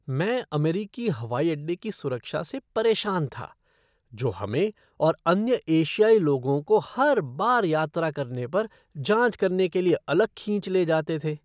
मैं अमेरिकी हवाई अड्डे की सुरक्षा से परेशान था, जो हमें और अन्य एशियाई लोगों को हर बार यात्रा करने पर जाँच करने के लिए अलग खींच ले जाते थे।